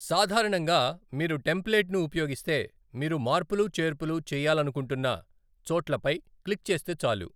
సాధారణంగా, మీరు టెంప్లేట్ను ఉపయోగిస్తే, మీరు మార్పులు చేర్పులు చేయాలనుకుంటున్న చోట్లపై క్లిక్ చేస్తే చాలు.